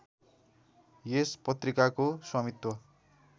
यस पत्रिकाको स्वामित्व